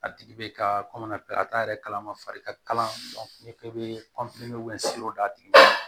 A tigi bɛ ka a t'a yɛrɛ kalama fari ka kala i k'i bɛ d'a tigi ma